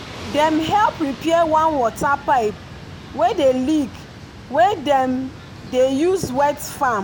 dem help repair one water pipe wey dey leak wey dem dey use wet farm.